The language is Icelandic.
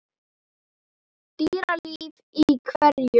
Dýralíf í hverum